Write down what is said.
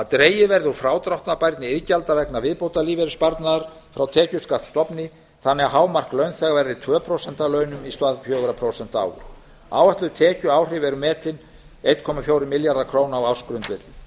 dregið verður úr frádráttarbærni iðgjalda vegna viðbótarlífeyrissparnaðar frá tekjuskattsstofni þannig að hámark launþega verði tvö prósent af launum í stað fjögurra prósenta áður áætluð tekjuáhrif eru metin einn komma fjórir milljarðar króna á ársgrundvelli